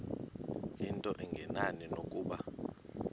into engenani nokuba